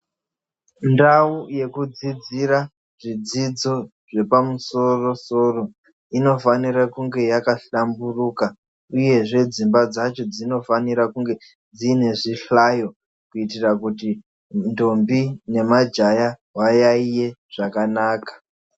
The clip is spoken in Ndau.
Ndau yekudzidzira zvidzidzo zvepamusoro soro inofanira kunge yakahlamburuka uyezve dzimba dzacho dzinofanira kunge dziine zvihlayo kuitira kuti ndombi nemajaya vayaiye zvakanaka.